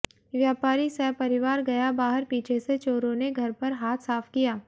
व्यापारी सपरिवार गया बाहर पीछे से चोरों ने घर पर हाथ साफ किया